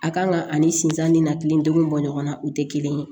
A kan ka ani sinzan ni na kile duuru bɔ ɲɔgɔn na o tɛ kelen ye